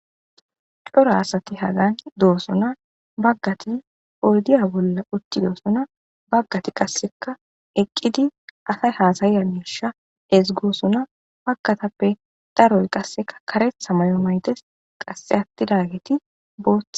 coro asati hagan doosona baggati poodiya bolla utti doosona baggati qasseka eqqidi asay haasayiyamisha ezgoosuna pagkatappe daroy qasseka karetha mayo maytes qasse attidageti boothe